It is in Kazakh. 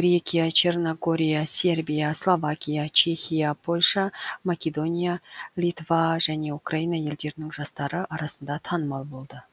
грекия черногория сербия словакия чехия польша македония литва және украина елдерінің жастары арасында танымал болды